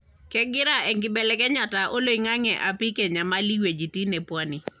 kengira enkibelekenyata oloingange aipik enyamal weujitin e pwani.